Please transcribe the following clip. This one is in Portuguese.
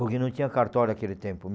Porque não tinha cartório naquele tempo,